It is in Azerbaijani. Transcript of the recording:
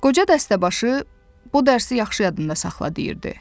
Qoca dəstəbaşı, bu dərsi yaxşı yadında saxla deyirdi.